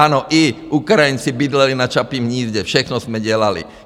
Ano, i Ukrajinci bydleli na Čapím hnízdě, všechno jsme dělali!